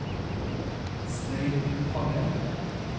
Stein Tangen